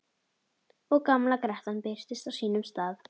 Og gamla grettan birtist á sínum stað.